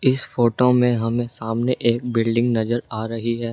इस फोटो में हम सामने एक बिल्डिंग नजर आ रही है।